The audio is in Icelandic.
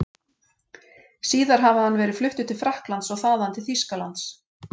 Síðar hafi hann verið fluttur til Frakklands og þaðan til Þýskalands.